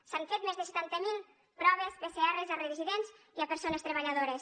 s’han fet més de setanta mil proves pcr a residents i a persones treballadores